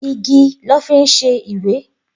Igi lọ́ fi ń ṣe ìwé.